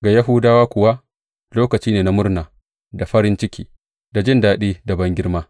Ga Yahudawa kuwa, lokaci ne na murna da farin ciki, da jin daɗi da bangirma.